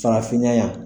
Farafinna yan